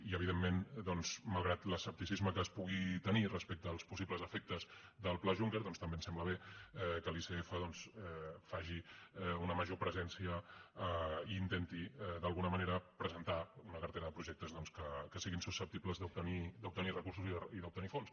i evidentment doncs malgrat l’escepticisme que es pugui tenir respecte als possibles efectes del pla juncker doncs també ens sembla bé que l’icf faci una major presència i intenti d’alguna manera presentar una cartera de projectes que siguin susceptibles d’obtenir recursos i d’obtenir fons